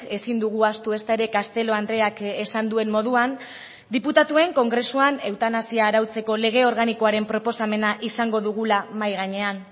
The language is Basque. ezin dugu ahaztu ezta ere castelo andreak esan duen moduan diputatuen kongresuan eutanasia arautzeko lege organikoaren proposamena izango dugula mahai gainean